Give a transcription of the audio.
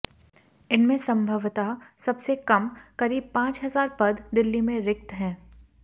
इनमें संभवतः सबसे कम करीब पांच हजार पद दिल्ली में रिक्त हैं